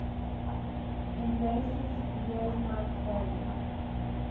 embraces yosemite valley